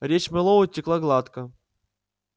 речь мэллоу текла гладко